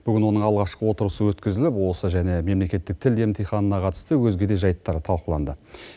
бүгін оның алғашқы отырысы өткізіліп осы және мемлекеттік тіл емтиханына қатысты өзге де жайттар талқыланды